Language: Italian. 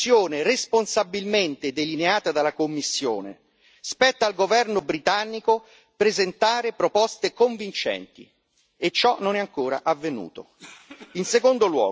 Non si può criticare la soluzione responsabilmente delineata dalla Commissione spetta al governo britannico presentare proposte convincenti, e ciò non è ancora